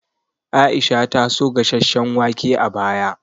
Aisha ta so gasasshen wake a baya